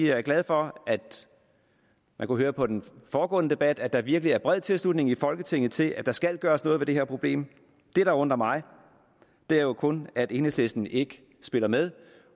jeg er glad for at man kunne høre på den foregående debat at der virkelig er bred tilslutning i folketinget til at der skal gøres noget ved det her problem det der undrer mig er jo kun at enhedslisten ikke spiller med